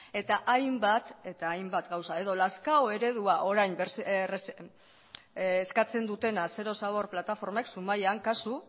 eta hainbat eta hainbat gauza edo lazkao eredua orain eskatzen dutena zero zabor plataformek zumaian kasu